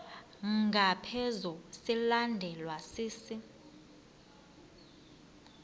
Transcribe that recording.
ngaphezu silandelwa sisi